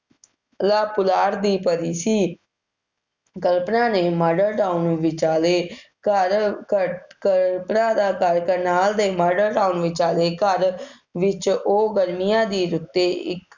ਪੁਲਾੜ ਦੀ ਪਰੀ ਸੀ। ਕਲਪਨਾ ਨੇ Model Town ਵਿਚਾਲੇ ਘਰ ਘਰ ਅਹ ਕਲਪਨਾ ਦਾ ਘਰ ਕਰਨਾਲ ਦੇ Model Town ਵਿਚਾਲੇ ਘਰ ਵਿੱਚ ਉਹ ਗਰਮੀਆਂ ਦੇ ਰੁੱਤੇ ਇੱਕ